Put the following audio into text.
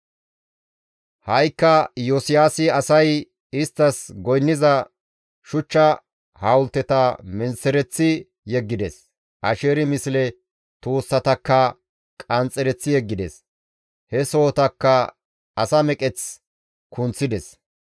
Ha7ikka Iyosiyaasi asay isttas goynniza shuchcha hawulteta menththereththi yeggides; Asheeri misle tuussatakka qanxxereththi yeggides; he sohotakka asa meqeth kunththides.